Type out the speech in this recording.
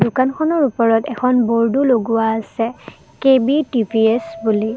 দোকানখনৰ ওপৰত এখন বৰ্ডো লগোৱা আছে কে_বি টি_ভি_এছ বুলি।